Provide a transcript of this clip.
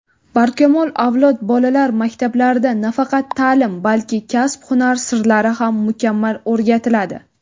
"Barkamol avlod" bolalar maktablarida nafaqat ta’lim balki kasb-hunar sirlari ham mukammal o‘rgatiladi.